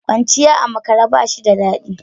Kwanciya a makare ba shi da dadi.